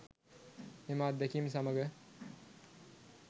එම අත්දැකීම් සමග